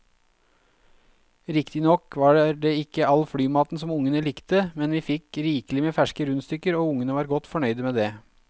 Riktignok var det ikke all flymaten som ungene likte, men vi fikk rikelig med ferske rundstykker og ungene var godt fornøyd med det.